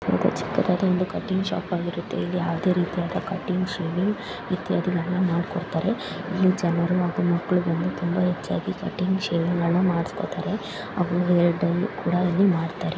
ಯಾವುದೋ ಚಿಕ್ಕದಾದ ಒಂದು ಕಟ್ಟಿಂಗ್ ಶಾಪ್ ಆಗಿರುತ್ತೆ ಇಲ್ಲಿ ಯಾವುದೇ ರೀತಿಯಾದ ಕಟ್ಟಿಂಗ್ ಶೇವಿಂಗ್ ಇತ್ಯಾದಿ ಗಳನ್ನ ಮಾಡಿಕೊಡುತ್ತಾರೆ ಇಲ್ಲಿ ಜನರು ಹಾಗೂ ಮಕ್ಕಳು ತುಂಬಾ ಹೆಚ್ಚಾಗಿ ಕಟಿಂಗ್ ಶೇವಿಂಗ್ ಗಳನ್ನ ಮಾಡಿಸಿಕೊಳ್ಳುತ್ತಾರೆ ಅವರು ಹೇಳಿದಂಗೆ ಕೂಡ ಮಾಡುತ್ತಾರೆ.